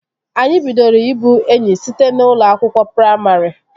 Anyị bidoro ị bụ enyi site n'ụlọ akwụkwọ praimarị